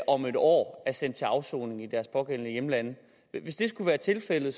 om et år er sendt til afsoning i deres pågældende hjemlande hvis det skulle være tilfældet